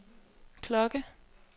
klokke